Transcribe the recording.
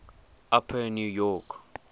upper new york